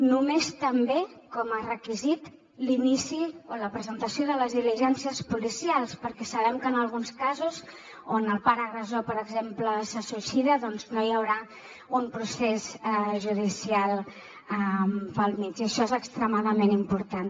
només també com a requisit l’inici o la presentació de les diligències policials perquè sabem que en alguns casos on el pare agressor per exemple se suïcida no hi haurà un procés judicial pel mig i això és extremadament important